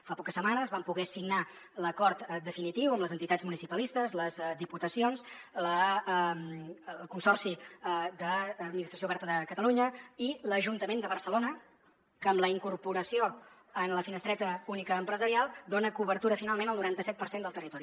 fa poques setmanes vam poder signar l’acord definitiu amb les entitats municipalistes les diputacions el consorci administració oberta de catalunya i l’ajuntament de barcelona que amb la incorporació en la finestreta única empresarial dona cobertura finalment al noranta set per cent del territori